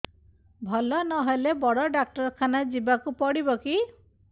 ଭଲ ନହେଲେ ବଡ ଡାକ୍ତର ଖାନା ଯିବା କୁ ପଡିବକି